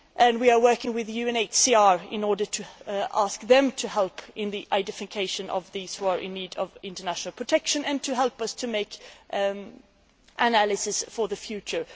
We are working with UNHCR in order to ask them to help in the identification of those in need of international protection and to help us to make analysis for the future.